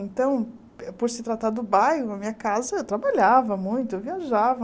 Então, por se tratar do bairro, a minha casa, eu trabalhava muito, eu viajava.